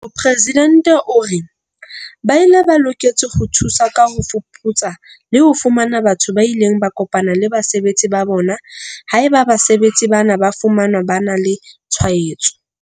Mopresidente o re. Ba bile ba loketse ho thusa ka ho fuputsa le ho fumana batho ba ileng ba kopana le basebetsi ba bona haeba basebetsi bana ba fumanwa ba na le tshwaetso.